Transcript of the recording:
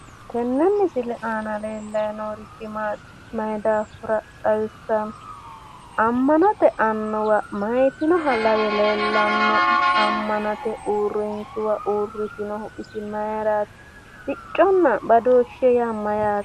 tenne misile aana leellanni noorichi maati mayi daafira xawissanno? ammanote annuwa mayiitinoha lawe leellano'ne amanote uurrinshuwa uurritinohu isi mayiiraati / sicconna badooshshe yaa is mayyaate?